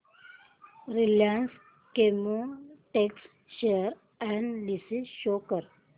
Reliance Chemotex share analysis show कर